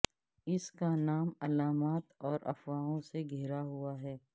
اس کا نام علامات اور افواہوں سے گھرا ہوا ہے